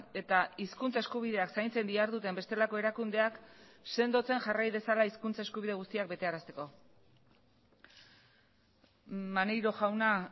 eta hizkuntza eskubideak zaintzen diharduten bestelako erakundeak sendotzen jarrai dezala hizkuntza eskubide guztiak betearazteko maneiro jauna